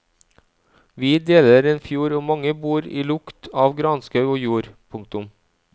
Vi deler en fjord og mange bor i lukt av granskau og jord. punktum